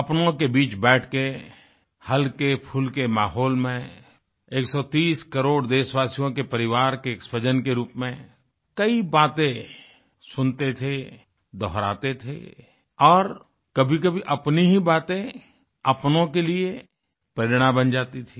अपनों के बीच बैठ के हल्केफुल्के माहौल में 130 करोड़ देशवासियों के परिवार के एक स्वजन के रूप में कई बातें सुनते थे दोहराते थे और कभीकभी अपनी ही बातें अपनों के लिए प्रेरणा बन जाती थी